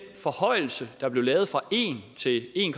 forhøjelse der blev lavet fra en til en